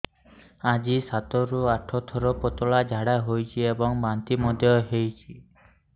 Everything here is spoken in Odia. ଆଜି ସାତରୁ ଆଠ ଥର ପତଳା ଝାଡ଼ା ହୋଇଛି ଏବଂ ବାନ୍ତି ମଧ୍ୟ ହେଇଛି